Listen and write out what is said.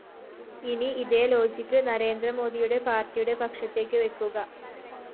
ഇനി ഇതേ ലോജിക്‌ നരേന്ദ്രമോദിയുടെ പാര്‍ട്ടിയുടെ പക്ഷത്തേക്ക് വെക്കുക